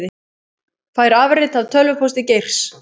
Fær afrit af tölvupósti Geirs